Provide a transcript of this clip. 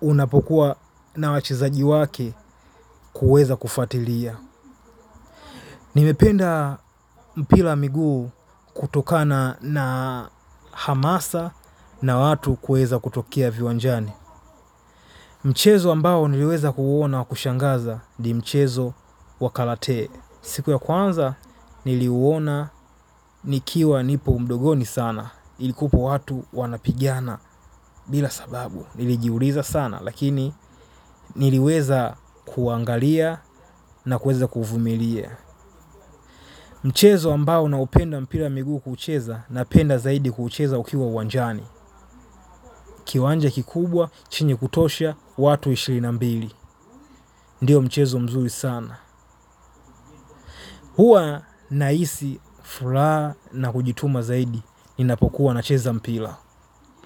unapokuwa na wachezaji wake kuweza kufuatilia. Nimependa mpira wa miguu kutokana na hamasa na watu kuweza kutokea viwanjani. Mchezo ambao niliweza ku uona wa kushangaza ni mchezo wa karate. Siku ya kwanza niliuona nikiwa nipo udogoni sana. Ilikuwapo watu wanapigiana bila sababu. Nilijiuliza sana lakini niliweza kuangalia na kuweza kuvumilia. Mchezo ambao naupenda wa mpira miguu kucheza napenda zaidi kucheza ukiwa uwanjani. Kiwanja kikubwa chenye kutosha watu ishirini na mbili. Ndio mchezo mzuri sana. Hua nahisi furaha na kujituma zaidi ninapokuwa nacheza mpira.